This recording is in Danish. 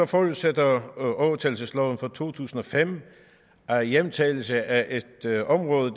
forudsætter overtagelsesloven fra to tusind og fem at hjemtagelse af et område